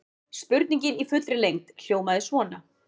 Spurningin í fullri lengd hljómaði svona: